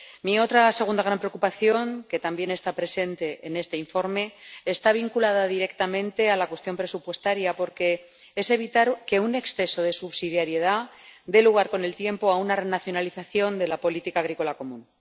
Mi otra segunda gran preocupación, que también está presente en este informe, está vinculada directamente a la cuestión presupuestaria, porque hay que evitar que un exceso de subsidiariedad dé lugar, con el tiempo, a una renacionalización de la política agrícola común.